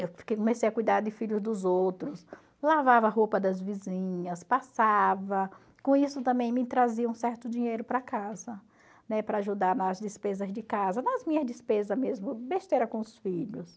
Eu comecei a cuidar de filhos dos outros, lavava a roupa das vizinhas, passava, com isso também me traziam um certo dinheiro para casa, né, para ajudar nas despesas de casa, nas minhas despesas mesmo, besteira com os filhos.